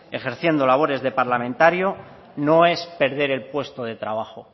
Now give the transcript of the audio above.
ejerciendo labores de parlamentario no es perder el puesto de trabajo